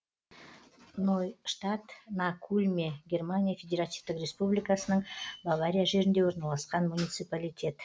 нойштадт на кульме германия федеративтік республикасының бавария жерінде орналасқан муниципалитет